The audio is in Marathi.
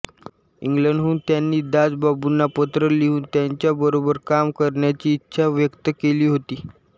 इंग्लंडहून त्यांनी दासबाबूंना पत्र लिहून त्यांच्याबरोबर काम करण्याची इच्छा व्यक्त केली होती